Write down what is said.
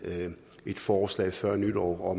et forslag før nytår hvor